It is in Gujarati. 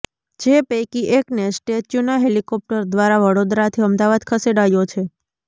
જે પૈકી એકને સ્ટેચ્યુના હેલિકોપ્ટર દ્વારા વડોદરાથી અમદાવાદ ખસેડાયો છે